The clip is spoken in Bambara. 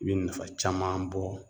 I bɛ nafa caman bɔ